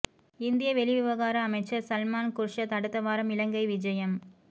இந்திய வெளிவிவகார அமைச்சர் சல்மான் குர்ஷ்த் அடுத்த வாரம் இலங்கை விஜயம்